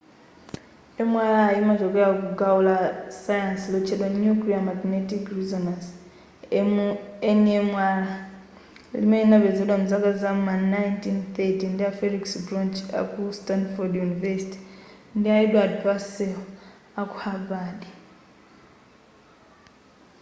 mri imachokela ku gawo la sayansi lotchedwa nuclear magnetic resonance nmr limene linapezedwa mzaka za ma 1930 ndi a felix bloch aku stanford universtity ndi a edward purcel aku havard